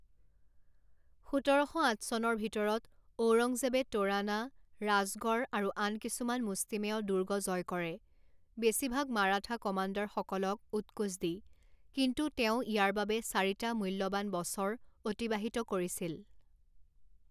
সোতৰ শ আঠ চনৰ ভিতৰত ঔৰংজেবে তোৰানা, ৰাজগড় আৰু আন কিছুমান মুষ্টিমেয় দুৰ্গ জয় কৰে, বেছিভাগ মাৰাঠা কমাণ্ডাৰসকলক উৎকোচ দি, কিন্তু তেওঁ ইয়াৰ বাবে চাৰিটা মূল্যৱান বছৰ অতিবাহিত কৰিছিল।